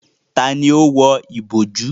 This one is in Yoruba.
Tani ó wọ ìbojú?